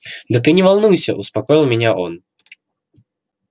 да ты не волнуйся успокоил меня он